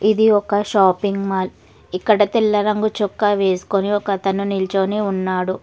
ఇది ఒక shopping mall ఇక్కడ తెల్ల రంగు చొక్క వేసుకొని ఒకతను నిల్చోని ఉన్నాడు.